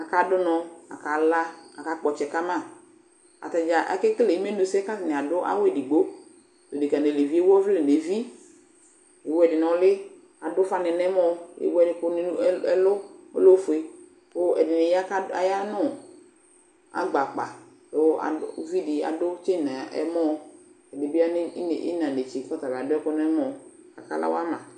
Akadʋ ʋnɔ kʋ akalablʋ akakpɔ ɔtsɛ ka ma Ata dza akekele imenusɛ kʋ atanɩ adʋ awʋ edigbo Adekǝ nʋ aluvi ewu ɔvlɛ nʋ evi, ewu ɛdɩ nʋ ʋlɩ, adʋ ʋfanɩ nʋ ɛmɔ ewu ɛd ɛkʋnɩ ɛl ɛlʋ ɔlɛ ofue kʋ ɛdɩnɩ ya kʋ ad aya nʋ agba akpa kʋ ad uvi dɩ adʋ tsen nʋ ɛmɔ Ɛdɩ bɩ ine ɩɣɩna netse kʋ ɔta bɩ adʋ ɛkʋ nʋ ɛmɔ kʋ akala wa ma